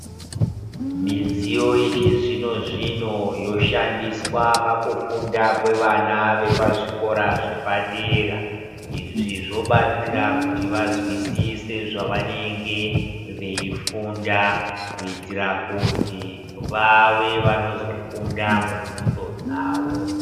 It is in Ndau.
Midziyo yechizvino zvino, yoshandiswe pakufunda kwevana vepazvikora zvepadera. Izvi zobatsira kuti vazwisise zvavanenge veyifunda kuitira kuti vave vanozokunda mubvunzo dzavo.